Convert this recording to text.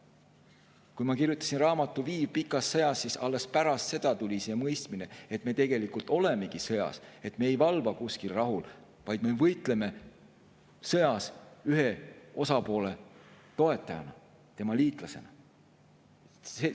Alles pärast seda, kui ma kirjutasin raamatu "Viiv pikas sõjas", tuli siia mõistmine, et me tegelikult olemegi sõjas, et me ei valva kuskil rahu, vaid me võitleme sõjas ühe osapoole toetajana, tema liitlasena.